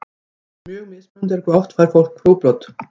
Mjög mismunandi er hve oft fólk fær útbrot.